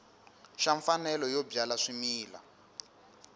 xa mfanelo yo byala swimila